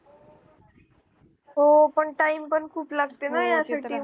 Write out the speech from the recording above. हो पण time पण खूप लागते ना यासाठी